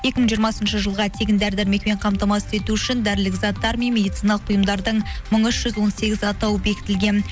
екі мың жиырмасыншы жылға тегін дәрі дәрмекпен қамтамасыз ету үшін дәрілік заттар мен медициналық ұйымдардың мың үш жүз он сегіз атауы бекітілген